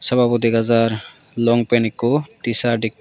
sababo dega jer long pant ekko tshirt ekko.